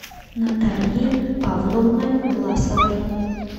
натальей павловной власовой